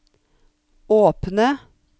åpne